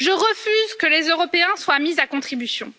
Je refuse que les Européens soient mis à contribution.